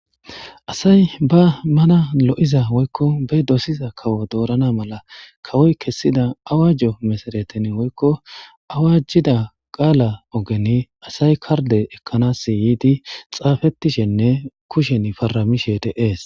asay ba mana lo7iza woykko be dosiza kawo doorana mala kawoy kessida awajjo mesaretin woykko awajjida qaala ogen asay karde ekkanasi yiidi xaafettishenne kushen faramishe deees